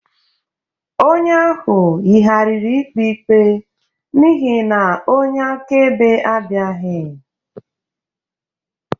Onye ahụ yigharịrị ikpe ikpe n'ihi na onye akaebe abịaghị